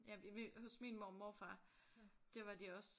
Hos min mormor og morfar der var de også